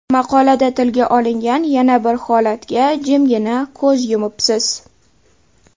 Maqolada tilga olingan yana bir holatga jimgina ko‘z yumibsiz.